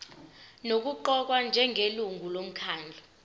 nokuqokwa njengelungu lomkhandlu